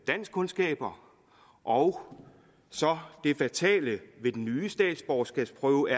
danskkundskaber og så er det fatale ved den nye statsborgerskabsprøve